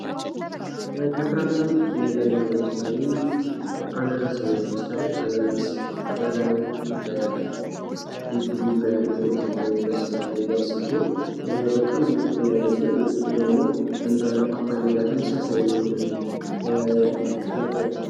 ከፍራፍሬ ውስጥ ሌላኛው ለምሳሌ አናናስን ማየት እንችላለን ።አናናስ ላዩ እንደ ጉብ ጉብ ያሉ እሾህ ያለው መሰል ነገር ሲሆን በጣም ብዙ ጥቅም ያለው ሲሆን ውስጡ ደግሞ እንደ ፓፓዬ ጋር ተመሳሳይ የሆነ ነገር